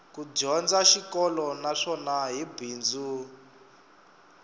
ku dyondza xikolo naswona hi bindzu